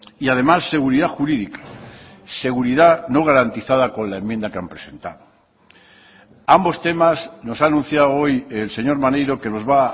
y además seguridad jurídica seguridad no garantizada con la enmienda que han presentado ambos temas nos ha anunciado hoy el señor maneiro que nos va